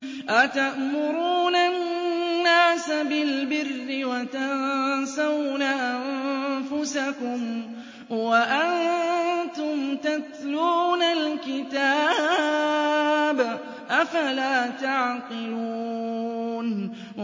۞ أَتَأْمُرُونَ النَّاسَ بِالْبِرِّ وَتَنسَوْنَ أَنفُسَكُمْ وَأَنتُمْ تَتْلُونَ الْكِتَابَ ۚ أَفَلَا تَعْقِلُونَ